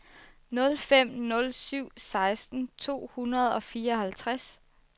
nul fem nul syv seksten to hundrede og fireoghalvtreds